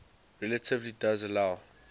relativity does allow